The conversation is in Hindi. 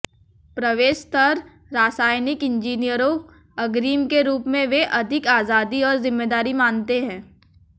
प्रवेश स्तर रासायनिक इंजीनियरों अग्रिम के रूप में वे अधिक आजादी और जिम्मेदारी मानते हैं